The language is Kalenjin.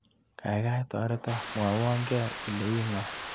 Kaikai toreto mwawake ile iingo.